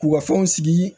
K'u ka fɛnw sigi